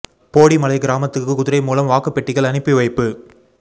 போடி மலை கிராமத்துக்கு குதிரை மூலம் வாக்குப் பெட்டிகள் அனுப்பி வைப்பு